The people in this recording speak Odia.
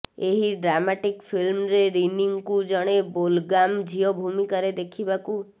ଏହି ଡ୍ରାମାଟିକ୍ ଫିଲ୍ମରେ ରିନିଙ୍କୁ ଜଣେ ବେଲଗାମ୍ ଝିଅ ଭୂମିକାରେ ଦେଖିବାକୁ